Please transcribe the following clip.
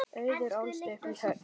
Auður ólst upp í Höfnum.